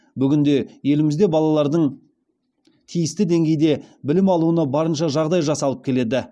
бүгінде елімізде балалардың тиісті деңгейде білім алуына барынша жағдай жасалып келеді